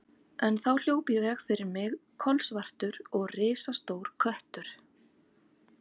En þá hljóp í veg fyrir mig kolsvartur og risastór köttur.